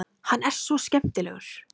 Hann er svo skemmtilegur!